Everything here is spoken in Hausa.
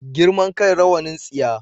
Girman kai rawanin tsiya